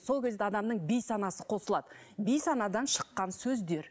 сол кезде адамның бейсанасы қосылады бейсанадан шыққан сөздер